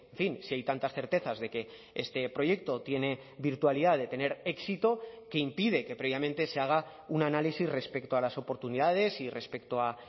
fin si hay tantas certezas de que este proyecto tiene virtualidad de tener éxito que impide que previamente se haga un análisis respecto a las oportunidades y respecto a